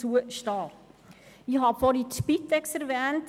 Zuvor habe ich die Spitex erwähnt.